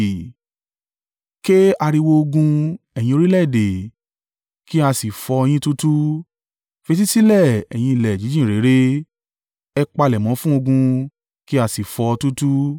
Ké ariwo ogun, ẹ̀yin orílẹ̀-èdè, kí a sì fọ́ ọ yín túútúú, fetísílẹ̀, ẹ̀yin ilẹ̀ jíjìn réré. Ẹ palẹ̀mọ́ fún ogun, kí a sì fọ́ ọ túútúú!